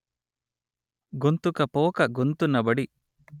గొంతుకపోక గొంతునబడి